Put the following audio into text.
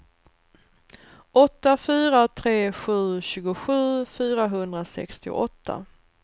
åtta fyra tre sju tjugosju fyrahundrasextioåtta